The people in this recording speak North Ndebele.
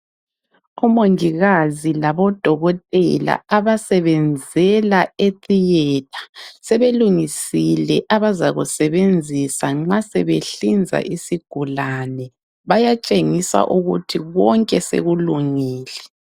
Omongikazi labodokotela abasebenzela etheatre sebelungisile abazakusebenzisa nxa sebehlinza isigulane bayatshengisa ukuthi bonke sekulungile.